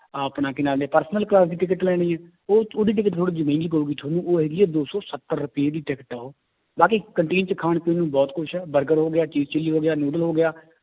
ਆਪਣਾ ਕੀ ਨਾਂ ਲੈਂਦੇ ਹੈ personal class ਦੀ ਟਿਕਟ ਲੈਣੀ ਹੈ ਉਹ ਉਹਦੀ ਟਿਕਟ ਥੋੜ੍ਹੀ ਜਿਹੀ ਮਹਿੰਗੀ ਪਊਗੀ ਤੁਹਾਨੂੰ ਉਹ ਹੈਗੀ ਹੈ ਦੋ ਸੌ ਸੱਤਰ ਰੁਪਏ ਦੀ ਟਿਕਟ ਹੈ ਉਹ, ਬਾਕੀ canteen 'ਚ ਖਾਣ ਪੀਣ ਨੂੰ ਬਹੁਤ ਕੁਛ ਹੈ ਬਰਗਰ ਹੋ ਗਿਆ ਚੀਜ਼ ਚਿੱਲੀ ਹੋ ਗਿਆ ਨੂਡਲ ਹੋ ਗਿਆ